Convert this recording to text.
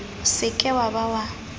se ke wa ba wa